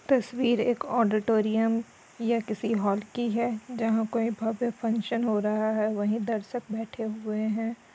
तस्वीर एक ओडॉटोरीउम या किसी हॉल की है जहाँ कोई भव्य फंगक्शन हो रहा है वही दर्शक बेठे हुए हैं।